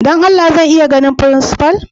Dan Allah zan iya ganin frincipa'n?